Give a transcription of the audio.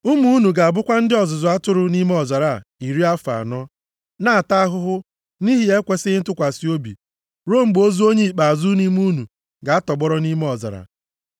Ụmụ unu ga-abụkwa ndị ọzụzụ atụrụ nʼime ọzara a iri afọ anọ, na-ata ahụhụ nʼihi ekwesighị ntụkwasị obi, ruo mgbe ozu onye ikpeazụ nʼime unu ga-atọgbọrọ nʼime ọzara.